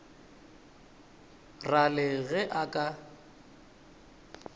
ra le ge e ka